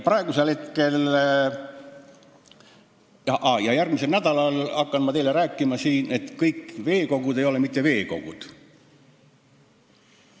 Ja järgmisel nädalal hakkan ma teile siin rääkima, et kõik veekogud ei ole mitte veekogud.